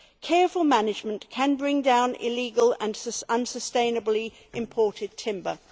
Careful management can bring down illegal and unsustainably imported timber.